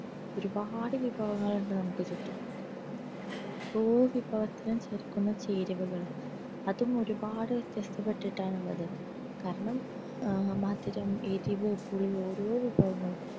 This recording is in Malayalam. ഒരുപ്പാട് വിഭവങ്ങളുണ്ട് നമുക്ക് ചുറ്റും ആ ഓരോ വിഭവത്തിനും ചേർക്കുന്ന ചേരുവകൾ അതും ഒരുപാട് വ്യത്യസ്തമാണ് വെച്ചിട്ടാണുള്ളത് കാരണം മധുരം എരുവ് പുളി ഓരോ വിഭവങ്ങളും